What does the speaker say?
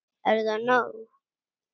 Er það nóg?